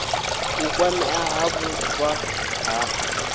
u kwamea ha vhupfa ha